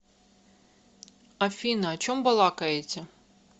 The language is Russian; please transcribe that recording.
афина о чем балакаете